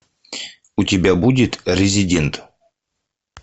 у тебя будет резидент